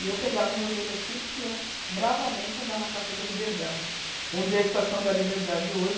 E eu pegava o meu velocípede e ia bravamente andar na Praça da Liberdade, onde é a Estação da Liberdade hoje.